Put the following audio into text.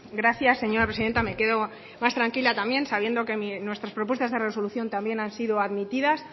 gracias señora presidenta me quedo más tranquila también sabiendo que nuestras propuestas de resolución también han sido admitidas